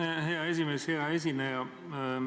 Aitäh, hea esimees!